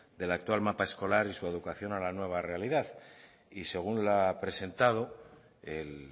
del actual mapa escolar y su adecuación a la nueva realidad y según la ha presentado el